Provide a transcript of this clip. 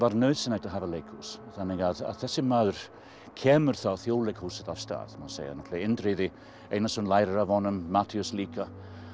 nauðsynlegt að hafa leikhús þannig að þessi maður kemur þá Þjóðleikhúsinu af stað má segja náttúrulega Indriði Einarsson lærir af honum Matthías líka